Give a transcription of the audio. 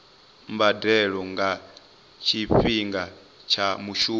mbadelo nga tshifhinga tsha mushumo